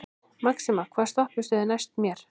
Maxima, hvaða stoppistöð er næst mér?